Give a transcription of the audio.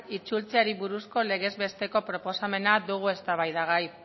itzultzeari buruzko legez besteko proposamena dugu eztabaidagai